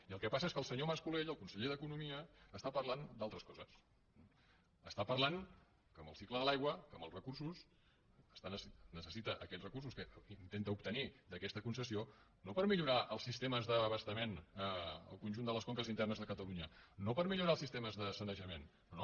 i el que passa és que el senyor mas colell el conseller d’economia està parlant d’altres coses està parlant que amb el cicle de l’aigua que amb els recursos necessita aquests recursos que intenta obtenir d’aquesta concessió no per millorar els sistemes d’abastament en el conjunt de les conques internes de catalunya no per millorar els sistemes de sanejament no no